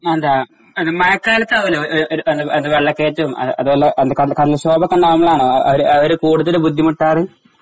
അതേ മഴക്കാലത്ത് ആവല്ലോ അത് ആ വെള്ളക്കേറ്റം അത്പോലെ കടൽക്ഷോഭം ഒക്കെ ഉണ്ടാവുമ്പോഴാണോ അവര് കൂടുതല് ബുദ്ധിമുട്ടാറ് ?